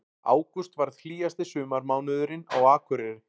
Ágúst varð hlýjasti sumarmánuðurinn á Akureyri